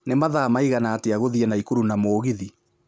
ni mathaa maigana atĩa gũthiĩ naikuru na mũgithi